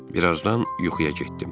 Bir azdan yuxuya getdim.